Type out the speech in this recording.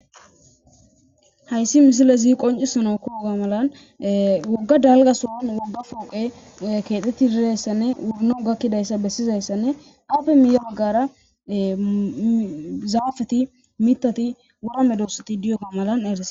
Hayssi missiley qoccisanawu Koyoga malan e wogga dalgga sohon wogga poqqey kexxetidi dizaysanne wono gakidayssa bessizayssane aappe miyye baggara zaafeti mittati wora medosati diyoga malla errises.